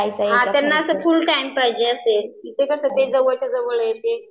हां त्यांना ते फुल टाइम पाहिजे असेल इथं कसं ते जवळच्या जवळ आहे.